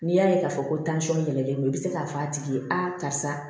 N'i y'a ye k'a fɔ ko tansɔn yɛrɛ yɛlɛlɛn don i bɛ se k'a fɔ a tigi ye a karisa